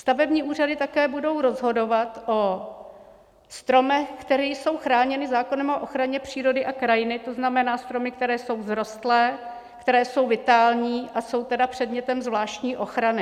Stavební úřady také budou rozhodovat o stromech, které jsou chráněny zákonem o ochraně přírody a krajiny, to znamená stromy, které jsou vzrostlé, které jsou vitální, a jsou tedy předmětem zvláštní ochrany.